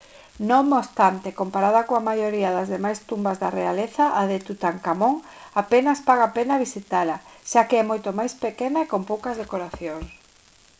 non obstante comparada coa maioría das demais tumbas da realeza a de tutankamón apenas paga a pena visitala xa que é moito máis pequena e con poucas decoracións